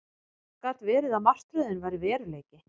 Gat verið að martröðin væri veruleiki?